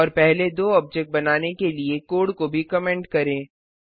और पहले दो ऑब्जेक्ट बनाने के लिए कोड को भी कंमेंट करें